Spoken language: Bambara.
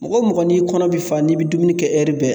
Mɔgɔ mɔgɔ n'i kɔnɔ be fa n'i be dumuni kɛ ɛri bɛɛ